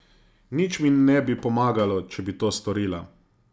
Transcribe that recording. Nič mi ne bi pomagalo, če bi to storila.